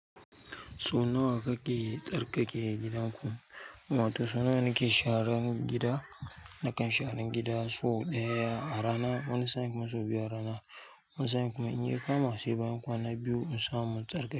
So nawa kake tsarkake gidanku? Wato so nawa nake e sharan gida. Nakan sharan gida so ɗaya a rana. Wani sa'in kuma sau biyu a rana. Wani sa'in kuma in ya kama sai bayan kwana biyu in samu na tsarkake.